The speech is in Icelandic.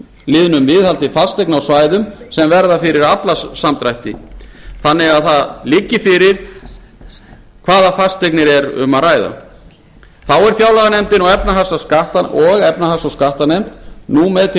liðnum viðhald fasteigna á svæðum sem verða fyrir aflasamdrætti þannig að fyrir liggi hvaða fasteignir er um að ræða þá eru fjárlaganefnd og efnahags og skattanefnd nú með til